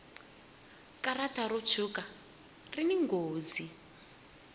karata ro tshuka rini nghozi